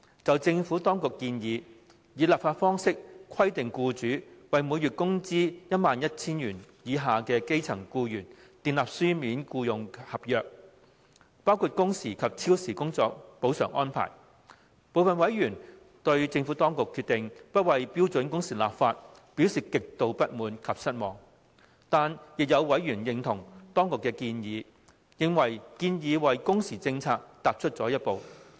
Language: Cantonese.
就政府當局提出以立法方式規定僱主為每月工資 11,000 元以下的基層僱員訂立書面僱傭合約的建議，部分委員對政府當局不就標準工時立法的決定，表示極度不滿及失望。但是，亦有委員認同當局的建議，認為建議為工時政策踏出了一步。